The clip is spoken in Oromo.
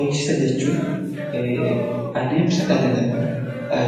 Beeksisa jechuun adeemsa dhalli namaa